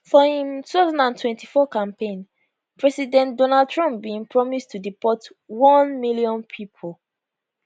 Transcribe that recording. for im 2024 campaign president donald trump bin promise to deport one million pipo